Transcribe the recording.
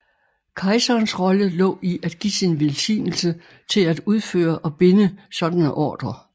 Kejserens rolle lå i at give sin velsignelse til at udføre og binde sådanne ordrer